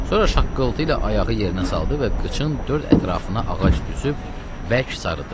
Sonra şaqqıltı ilə ayağı yerinə saldı və qıçın dörd ətrafına ağac düzüb bərk sarıdı.